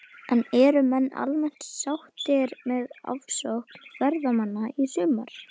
En eru menn almennt sáttir með aðsókn ferðamanna í sumar?